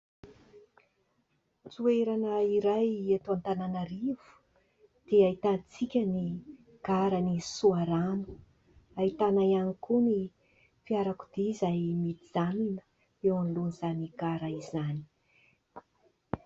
Toerana iray eto Antananarivo dia ahitantsika ny garan'i Soarano, ahitana ihany koa ny fiarakodia izay mijanona eo alohan'izany gara izany.